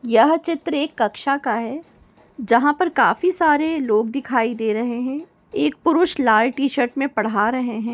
यह चित्र एक कक्षा का है जहा पर काफी सारे लोग दिखाई दे रहे हैं एक पुरुष लाल टीशर्ट में पढ़ा रहे हैं।